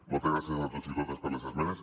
moltes gràcies a tots i a totes per les esmenes